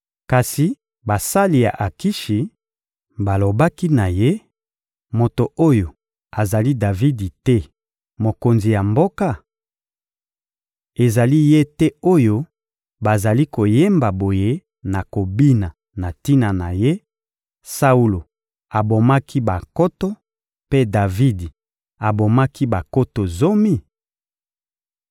Kasi basali ya Akishi balobaki na ye: «Moto oyo azali Davidi te, mokonzi ya mboka? Ezali ye te oyo bazali koyemba boye na kobina na tina na ye: ‹Saulo abomaki bankoto, mpe Davidi abomaki bankoto zomi?›»